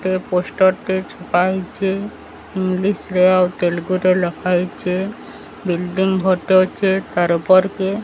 ଏ poster ଟି ପାଇଚେ English ରେ ଆଉ ତେଲୁଗୁ ରେ ଲେଖା ହୋଇଚେ ବିଲ୍ଡିଂ ଫଟେ ଅଛେ ତାର ଉପରକେ ।